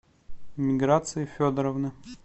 миграции федоровны